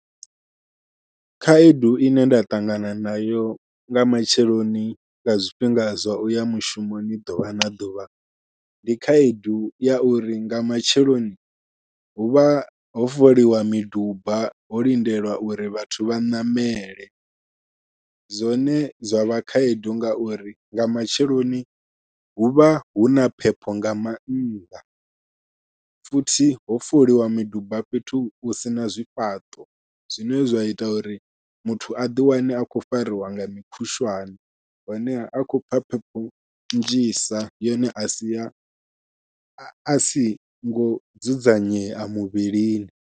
Khaedu ine nda ṱangana nayo nga matsheloni nga zwifhinga zwa uya mushumoni ḓuvha na ḓuvha, ndi khaedu ya uri nga matsheloni huvha ho foliwa miduba ho lindelwa uri vhathu vha ṋamele. Zwone zwa vha khaedu ngauri nga matsheloni huvha huna phepho nga mannḓa, futhi ho foliwa miduba fhethu hu sina zwifhaṱo zwine zwa ita uri muthu a ḓi wane a khou fariwa nga mukhushwane, honeha a khou pfha phepho nnzhisa yone ya sia a singo dzudzanyea muvhilini.